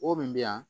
O min bɛ yan